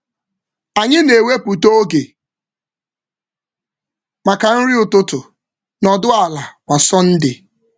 Anyị na-ewepụta oge maka nri ụtụtụ nọdụ ala kwa Sọnde.